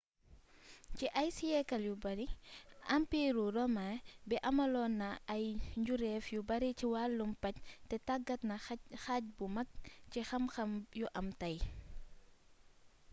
ci ay siyeekal yu bari ampiiru romain bi amaloon na ay njuréef yu bari ci wàllum paj te tàggat na xaaj bu mag ci xam-xam yu am tey